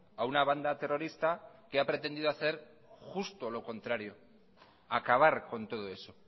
a una banda terrorista que ha pretendido hacer justo lo contrario acabar con todo eso